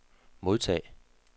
modtag